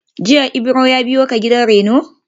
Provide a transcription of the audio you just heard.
Jiya Ibro ya biyo ka gidan rainon?